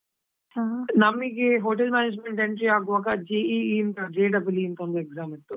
Hotel management entry ಆಗುವಾಗಾ, JEE J double E ಅಂತಾ ಒಂದ್ exam ಇತ್ತು.